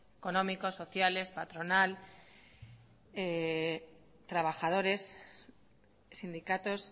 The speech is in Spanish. económicos sociales patronal trabajadores sindicatos